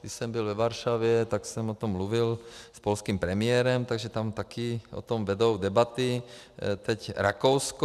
Když jsem byl ve Varšavě, tak jsem o tom mluvil s polským premiérem, takže tam taky o tom vedou debaty, teď Rakousko.